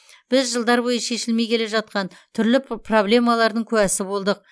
біз жылдар бойы шешілмей келе жатқан түрлі п проблемалардың куәсі болдық